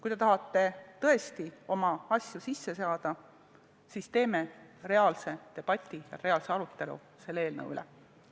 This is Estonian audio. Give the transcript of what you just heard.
Kui te tahate tõesti oma asju ellu viia, siis teeme reaalse debati, reaalse arutelu selle eelnõu üle!